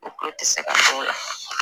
O kulo ti se ka don o la.